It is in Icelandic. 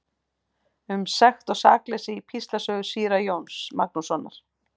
Um sekt og sakleysi í Píslarsögu síra Jóns Magnússonar.